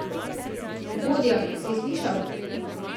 Vodja, si slišal?